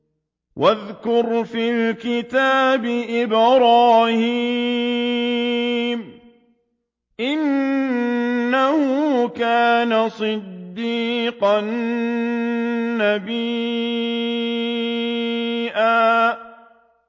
وَاذْكُرْ فِي الْكِتَابِ إِبْرَاهِيمَ ۚ إِنَّهُ كَانَ صِدِّيقًا نَّبِيًّا